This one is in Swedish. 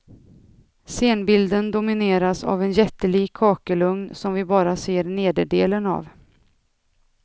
Scenbilden domineras av en jättelik kakelugn som vi bara ser nederdelen av.